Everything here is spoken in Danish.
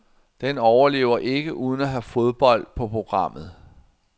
Den overlever ikke uden at have fodbold på programmet.